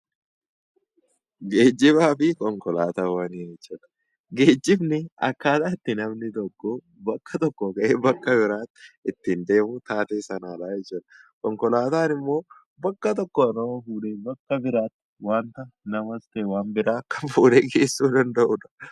Geejjibaa fi konkolaataawwan yeroo jennu, geejjibni akkaataa itti namni tokko bakka tokkoo ka'ee bakka biraa ittiin deemu taatee kanadha jechuudha. Konkolaataan immoo bakka tokkoo nama fuudhee bakka biraatti waanta namas ta'e waan biraa kan fuudhee geessuu danda'udha.